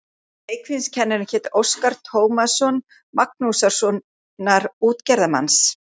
Leikfimiskennarinn hét Óskar Tómasson, Magnússonar út- gerðarmanns.